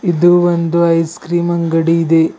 ಇದು ಒಂದು ice cream ಇದೆ.